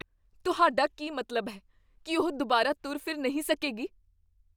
ਤੁਹਾਡਾ ਕੀ ਮਤਲਬ ਹੈ ? ਕੀ ਉਹ ਦੁਬਾਰਾ ਤੁਰ ਫਿਰ ਨਹੀਂ ਸਕੇਗੀ?